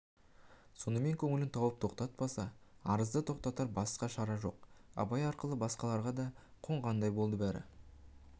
сонымен көңілін тауып тоқтатпаса арызды тоқтатар басқа шара жоқ абай ақылы басқаларға да қонғандай болды бәрі